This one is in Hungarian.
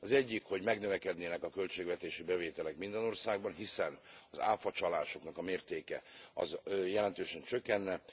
Az egyik, hogy megnövekednének a költségvetési bevételek minden országban, hiszen az áfacsalások mértéke jelentősen csökkenne.